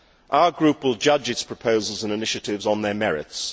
Our group will judge its proposals and initiatives on their merits.